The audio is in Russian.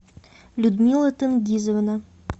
людмила тенгизовна